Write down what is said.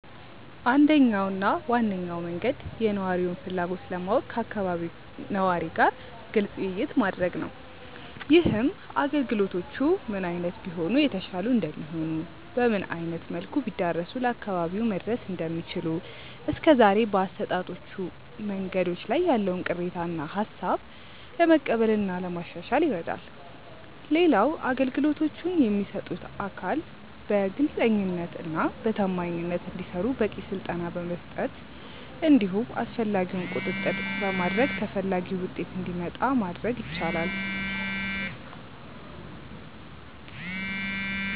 አንደኛው እና ዋነኛው መንገድ የነዋሪውን ፍላጎት ለማወቅ ከአካባቢው ነዋሪ ጋር ግልጽ ውይይት ማድረግ ነው። ይህም አገልግሎቶቹ ምን አይነት ቢሆኑ የተሻሉ እንደሚሆኑ፤ በምን አይነት መልኩ ቢዳረሱ ለአካባቢው መድረስ እንደሚችሉ፤ እስከዛሬ በአሰጣጦቹ መንገዶች ላይ ያለውን ቅሬታ እና ሃሳብ ለመቀበል እና ለማሻሻል ይረዳል። ሌላው አገልግሎቶቹን የሚሰጡት አካል በግልጸኝነት እና በታማኝነት እንዲሰሩ በቂ ስልጠና በመስጠት እንዲሁም አስፈላጊውን ቁጥጥር በማድረግ ተፈላጊው ውጤት እንዲመጣ ማድረግ ይቻላል።